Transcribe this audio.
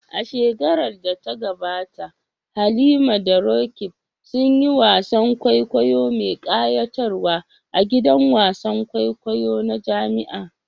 A shekarar da ta gabata Halima da Roqeeb sun yi wasan kwaikwayo mai kayatarwa a gidan wasan kwaikwayo na jami'a.